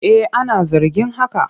Eh ana zargin haka.